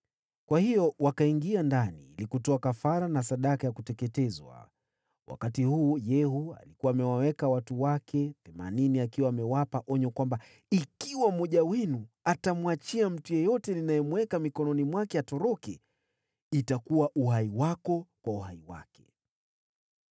Kwa hiyo wakaingia ndani ili kutoa kafara na sadaka ya kuteketezwa. Wakati huu, Yehu alikuwa amewaweka watu wake themanini akiwa amewapa onyo kwamba, “Ikiwa mmoja wenu atamwachia mtu yeyote ninayemweka mikononi mwake atoroke, itakuwa uhai wako kwa uhai wake.”